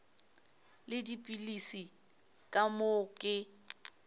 le dipilisi ka moo ke